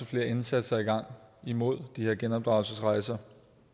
flere indsatser i gang imod de her genopdragelsesrejser